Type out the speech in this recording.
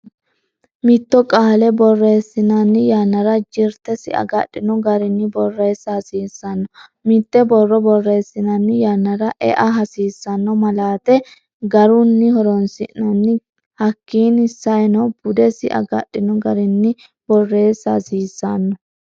Mitto qaale boreesinanni yannara jirtesi agadhinno garinni boreesa hasiisanno mitte borro boreesinanni yannara e'a hasiisanno malaate garunno horoonsinanni hakiini saenno budesi agadhinno garinni boreessa hasiisanno